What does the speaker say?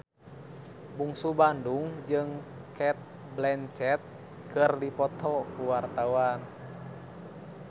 Bungsu Bandung jeung Cate Blanchett keur dipoto ku wartawan